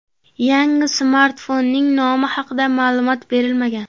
Yangi smartfonning nomi haqia ma’lumot berilmagan.